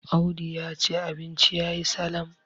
Audu ya ce abinci ya yi Salam